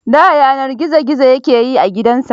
Da yana gizo gizo ya ke yin gidansa.